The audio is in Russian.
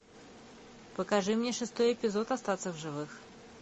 покажи мне шестой эпизод остаться в живых